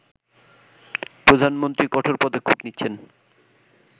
প্রধানমন্ত্রী কঠোর পদক্ষেপ নিচ্ছেন